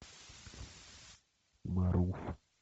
марув